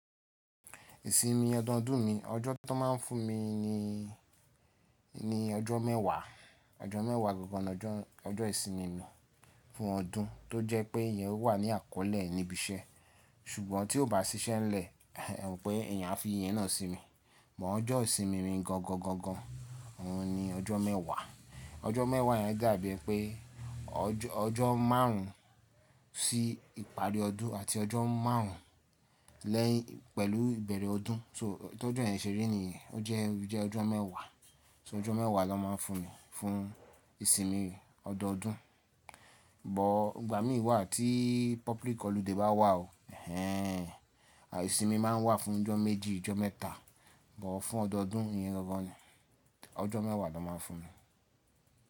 Ìsinmi ọdọọdún mi, ọjọ́ tán máa ń fún mi ni, ni ọjọ́ mẹ́wàá. Ọjọ́ mẹ́wàá gangan lọ́jọ́, ọjọ́ ìsinmi mi fún ọdún tó jẹ́ pé ìyen wà ní àkọ́lé níbi iṣẹ́. Ṣùgbọ́n tí ó bá sí ṣẹ́ ń lẹ̀, ẹ mọ pé èèyàn á fi ìyẹn náà sì mi. Mọ ọjọ́ ìsinmi mi gangan gan gan òun-un ni ọjọ́ mẹ́wàá. Ọjọ́ mẹ́wàá yẹn dàbí pé ọjọ́, ọjọ́ márùn ún sí ìparí ọdún àti ọjọ́ márùn ún lẹ́yìn pẹ̀lú ìbẹ̀rẹ̀ ọdún. So tí ọjọ́ yẹn ṣe rí ni yẹn, ó jẹ́, ó jẹ́ ọjọ́ mẹ́wàá. So ọjọ́ mẹ́wàá náà máa ń fún mi fún ìsinmi ọdọọdún. Bọ̀ ìgbà mí wà tí public holiday bá wà o, ẹhẹ́n àìì ìsinmi máa ń wà fún ọjọ́ méjì, ọjọ́ mẹ́ta. Bọ̀ fún ọdọọdún ìyẹn gangan ni, ọjọ́ mẹ́wàá náà máa ń fún mi.